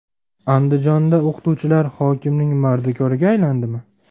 Andijonda o‘qituvchilar hokimning mardikoriga aylandimi?.